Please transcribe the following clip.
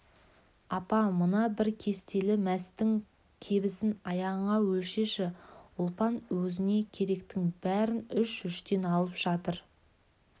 апа мына бір кестелі мәстің кебісін аяғыңа өлшеші ұлпан өзіне керектің бәрін үш-үштен алып жатыр